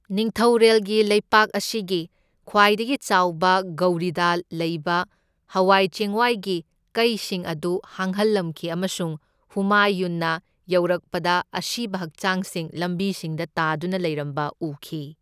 ꯅꯤꯡꯊꯧꯔꯦꯜꯒꯤ ꯂꯩꯄꯥꯛ ꯑꯁꯤꯒꯤ ꯈ꯭ꯋꯥꯏꯗꯒꯤ ꯆꯥꯎꯕ ꯒꯧꯔꯤꯗ ꯂꯩꯕ ꯍꯋꯥꯏ ꯆꯦꯡꯋꯥꯏꯒꯤ ꯀꯩꯁꯤꯡ ꯑꯗꯨ ꯍꯥꯡꯍꯜꯂꯝꯈꯤ ꯑꯃꯁꯨꯡ ꯍꯨꯃꯥꯌꯨꯟꯅ ꯌꯧꯔꯛꯄꯗ ꯑꯁꯤꯕ ꯍꯛꯆꯥꯡꯁꯤꯡ ꯂꯝꯕꯤꯁꯤꯡꯗ ꯇꯥꯗꯨꯅ ꯂꯩꯔꯝꯕ ꯎꯈꯤ꯫